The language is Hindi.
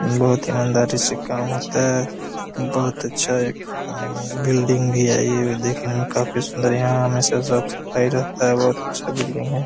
बहुत इमानदारी से काम होता है बहुत अच्छी बिल्डिंग भी है ये देखने में काफ़ी सुंदर यहाँ हमेशा साफ़ सफ़ाई रहता है बहुत अच्छी बिल्डिंग है!